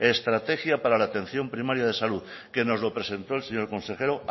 estrategia para la atención primaria de salud que nos lo presentó el señor consejero